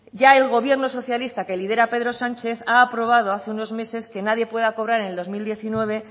ya el gobierno socialista que lidera pedro sánchez ha aprobado hace unos meses que nadie pueda cobrar en el dos mil diecinueve